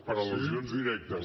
per al·lusions directes